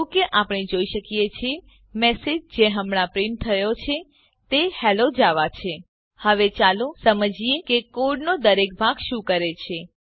જેવું કે આપણે જોઈ શકીએ છીએ મેસેજ જે હમણા પ્રીંટ થયો છે તે હેલ્લો જાવા છે હવે ચાલો સમજીએ કે કોડનો દરેક ભાગ શું કરે છે